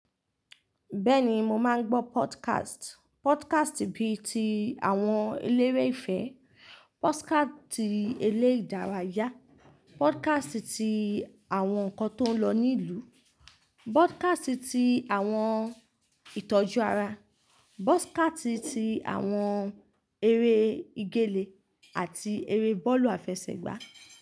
Bẹ́ẹ̀ni mo máa ń gbọ́ podkast. Podkast bí i ti àwọn eléré ìfẹ́, podkast ti eré ìdárayá, podkast ti àwọn ǹkan tó ń lọ ní ìlú, podkast ti àwọn ìtọ́jú ara, podkast ti àwọn eré ìgele àti eré bọ́ọ̀lù àfẹsẹ̀gbá.